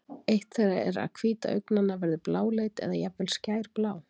eitt þeirra er að hvíta augnanna verður bláleit eða jafnvel skærblá